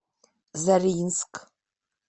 заринск